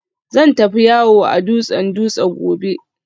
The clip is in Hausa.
Zan tafi yawo a dutsen Dutse gobe